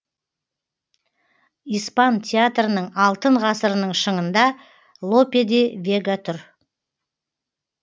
испан театрының алтын ғасырының шыңында лопе де вега тұр